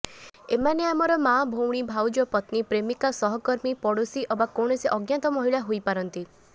ଏମାନେ ଆମର ମାଆ ଭଉଣୀ ଭାଉଜ ପତ୍ନୀ ପ୍ରେମିକା ସହକର୍ମୀ ପଡୋଶୀ ଅବା କୌଣସି ଅଜ୍ଞାତ ମହିଳା ହୋଇପାରନ୍ତି